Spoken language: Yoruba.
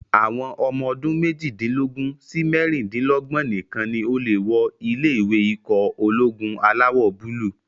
Àwọn ọmọ ọdún méjìdínlógún sí mẹ́rindínlógbọ̀n nìkan ni o lè wọ ilé-ìwé ikọ̀ ológun alawọ̀-búúlù